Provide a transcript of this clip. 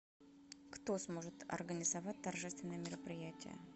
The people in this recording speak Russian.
кто сможет организовать торжественное мероприятие